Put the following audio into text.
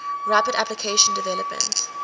rapid application development